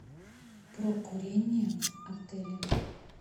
про курение в отеле